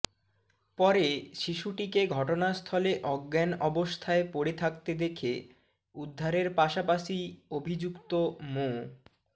পরে শিশুটিকে ঘটনাস্থলে অজ্ঞান অবস্থায় পড়ে থাকতে দেখে উদ্ধারের পাশাপাশি অভিযুক্ত মো